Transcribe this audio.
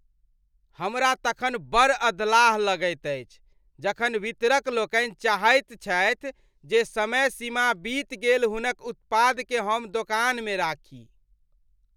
हमरा तखन बड़ अधलाह लगैत अछि जखन वितरक लोकनि चाहैत छथि जे समय सीमा बीत गेल हुनक उत्पादकेँ हम दोकानमे राखी।